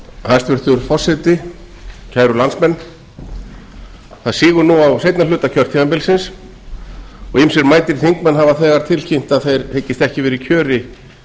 hæstvirtur forseti kæru landsmenn það sígur nú á seinni hluta kjörtímabilsins og ýmsir mætir þingmenn hafa þegar tilkynnt að þeir hyggist ekki vera í kjöri